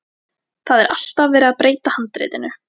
Það er alltaf verið að breyta handritinu.